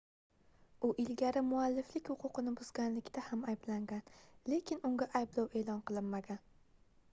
u ilgari mualliflik huquqini buzganlikda ham ayblangan lekin unga ayblov eʼlon qilinmagan